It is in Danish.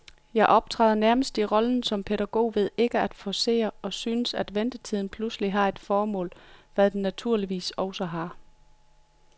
Jeg optræder nærmest i rollen som pædagog ved ikke at forcere, og synes, at ventetiden pludselig har et formål, hvad den naturligvis også har.